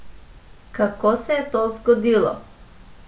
Kako se je to zgodilo?